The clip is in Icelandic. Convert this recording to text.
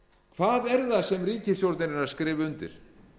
hvað er það sem ríkisstjórnin er að skrifa undir